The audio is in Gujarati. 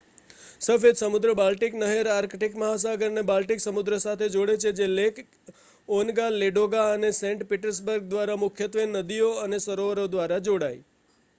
સફેદ સમુદ્ર-બાલ્ટિક નહેર આર્કટિક મહાસાગરને બાલ્ટિક સમુદ્ર સાથે જોડે છે જે લેક ઓન્ગા લેડોગા અને સેન્ટ પીટર્સબર્ગ દ્વારા મુખ્યત્વે નદીઓ અને સરોવરો દ્વારા જોડાય